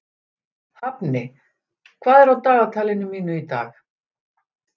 Hafni, hvað er á dagatalinu mínu í dag?